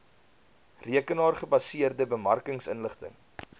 rekenaar gebaseerde bemarkingsinligting